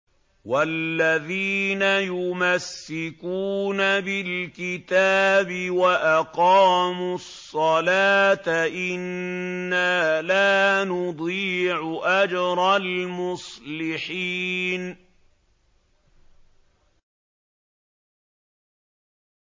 وَالَّذِينَ يُمَسِّكُونَ بِالْكِتَابِ وَأَقَامُوا الصَّلَاةَ إِنَّا لَا نُضِيعُ أَجْرَ الْمُصْلِحِينَ